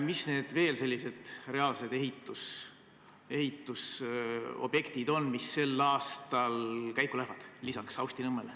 Mis on veel sellised reaalsed ehitusobjektid, mis sel aastal peale Saustinõmme viadukti käiku lähevad?